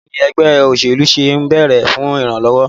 Báwo ni ẹgbẹ́ òṣèlú ṣe ń bèrè fún ìrànlọ́wọ́?